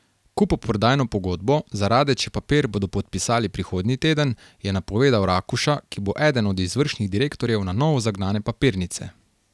Kupoprodajno pogodbo za Radeče papir bodo podpisali prihodnji teden, je napovedal Rakuša, ki bo eden od izvršnih direktorjev na novo zagnane papirnice.